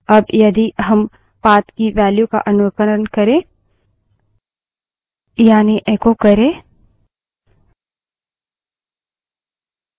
अब यदि हम path की value का अनुकरण करें यानि echo करे